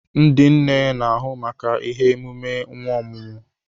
Ndị nne n'ahụ maka ihe emume nwa ọhụụ.